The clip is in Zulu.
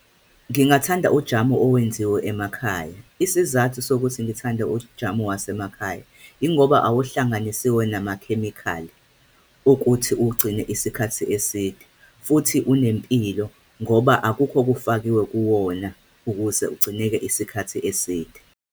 Ngingathanda ujamu owenziwe emakhaya. Isizathu sokuthi ngithande ujamu wasemakhaya, yingoba awuhlanganisiwe namakhemikhali ukuthi uwugcine isikhathi eside, futhi unempilo ngoba akukho okufakiwe kuwona ukuze ugcineke isikhathi eside.